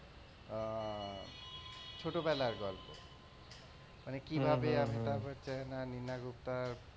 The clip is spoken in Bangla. আহ ছোটবেলার গল্প, মানে কিভাবে অমিতাভ বচ্চন আর নিনা গুপ্তার,